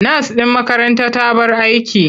Nas ɗin makaranta ta bar aiki.